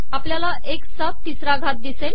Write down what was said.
आपलयाला एकस चा ितसरा घात िदसेल